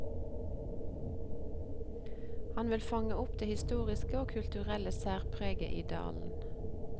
Han ville fange opp det historiske og kulturelle særpreget i dalen.